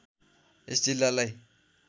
यस जिल्लालाई